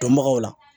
Dɔnbagaw la